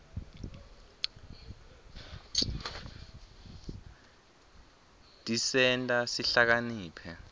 tisenta sihlakaniphe